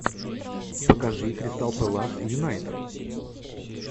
покажи кристал пэлас и юнайтед